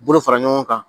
Bolo fara ɲɔgɔn kan